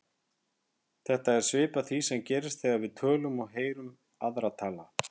Þetta er svipað því sem gerist þegar við tölum og heyrum aðra tala.